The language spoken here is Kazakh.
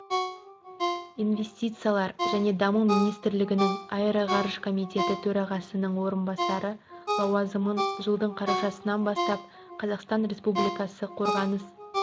инвестициялар және даму министрлігінің аэроғарыш комитеті төрағасының орынбасары лауазымын жылдың қарашасынан бастап қазақстан республикасы қорғаныс